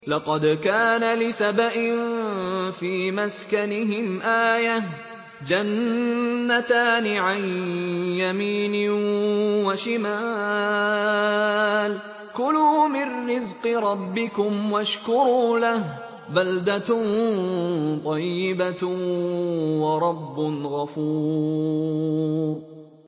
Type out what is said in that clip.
لَقَدْ كَانَ لِسَبَإٍ فِي مَسْكَنِهِمْ آيَةٌ ۖ جَنَّتَانِ عَن يَمِينٍ وَشِمَالٍ ۖ كُلُوا مِن رِّزْقِ رَبِّكُمْ وَاشْكُرُوا لَهُ ۚ بَلْدَةٌ طَيِّبَةٌ وَرَبٌّ غَفُورٌ